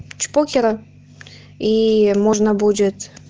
чпокера и можно будет